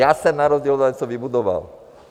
Já jsem na rozdíl od vás něco vybudoval.